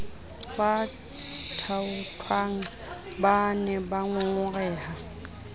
ba thaothwang ba ne bangongoreha